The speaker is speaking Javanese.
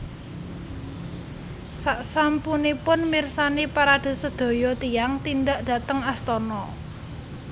Saksampunipun mirsani parade sedaya tiyang tindak dhateng astana